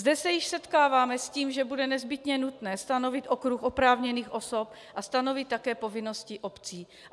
Zde se již setkáváme s tím, že bude nezbytně nutné stanovit okruh oprávněných osob a stanovit také povinnosti obcí.